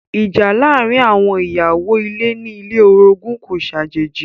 Ìjà láàárín àwọn ìyàwó ilé ní ilé olorogun kò ṣàjèjì.